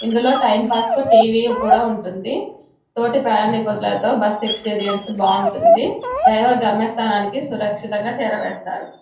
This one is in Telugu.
ఇందులో టైంపాస్ కి టీవీ కూడా ఉంటుంది. తోటి ప్రయాణికులతో బస్సు ఎక్స్పీరియన్స్ బాగుంటుంది. డ్రైవర్ గమ్య స్థానానికి సురక్షితంగా చేరవేస్తారు.